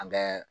An bɛ